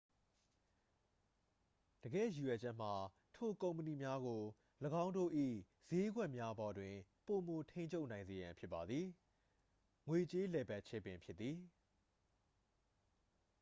တကယ့်ရည်ရွယ်ချက်မှာ ထိုကုမ္ပဏီများကို ၎င်းတို့၏စျေးကွက်များပေါ်တွင် ပိုမိုထိန်းချုပ်နိုင်စေရန်ဖြစ်ပါသည် ငွေကြေးလည်ပတ်ခြင်းပင်ဖြစ်သည်